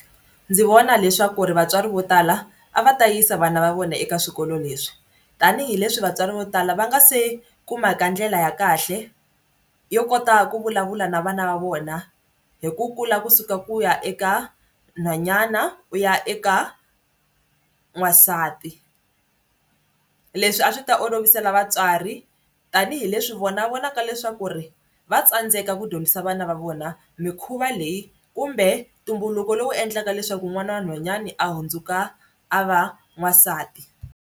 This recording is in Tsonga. Ndzi vona leswaku ri vatswari vo tala a va ta yisa vana va vona eka swikolo leswi tanihileswi vatswari vo tala va nga se kumaka ndlela ya kahle yo kota ku vulavula na vana va vona hi ku kula kusuka ku ya eka nhwanyana u ya eka n'wansati leswi a swi ta olovisela vatswari tanihileswi vona va vonaka leswaku ri va tsandzeka ku dyondzisa vana va vona mikhuva leyi kumbe ntumbuluko lowu endlaka leswaku n'wana wa nhwanyana a hundzuka a va n'wansati.